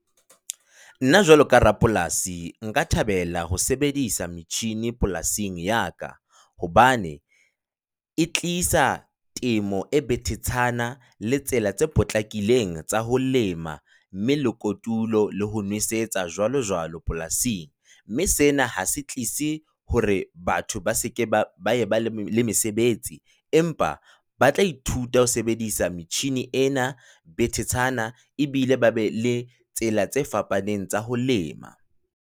Nna jwalo ka rapolasi, nka thabela ho sebedisa metjhini polasing ya ka, hobane e tlisa temo e betetshana le tsela tse potlakileng tsa ho lema mme le kotulo le ho nwesetsa jwalojwalo polasing, mme sena ha se tlise hore batho ba se ke ba eba le mesebetsi empa ba tla ithuta ho sebedisa metjhini ena betetshana ebile ba be le tsela tse fapaneng tsa ho lema.